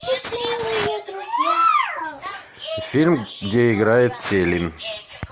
фильм где играет селин